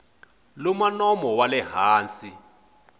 luma nomo wa le hansi